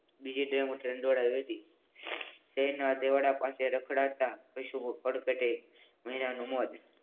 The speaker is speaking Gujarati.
બીજી ડેમો ટ્રેન દોડાવી હતી. તેના દેવાડા પાસે રખડાતા